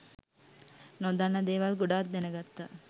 නොදන්න දේවල් ගොඩක් දැනගත්තා